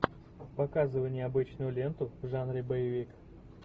показывай необычную ленту в жанре боевик